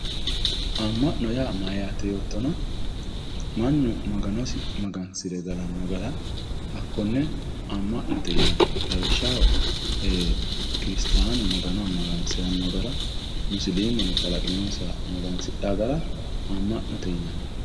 Ama`note yaa mayate yootana manu magano ama`nano gara hatee ama`note yinani lawoshaho kiristanu kalaqinonsaha ama`ano gara musilimeno hato asite aman`itano